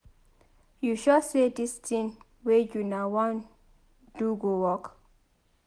You sure say dis thing wey una wan do go work?